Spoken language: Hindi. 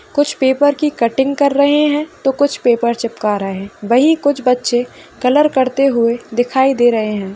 कुछ पेपर की कटिंग कर रहे हैं तो कोई पेपर चिपका रहे हैं वहीं कुछ बच्चे कलर करते हुए दिखाई दे रहे हैं।